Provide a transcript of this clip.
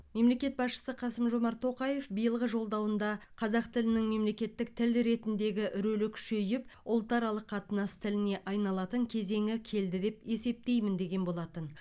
мемлекет басшысы қасым жомарт тоқаев биылғы жолдауында қазақ тілінің мемлекеттік тіл ретіндегі рөлі күшейіп ұлтаралық қатынас тіліне айналатын кезеңі келді деп есептеймін деген болатын